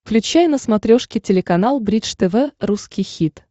включай на смотрешке телеканал бридж тв русский хит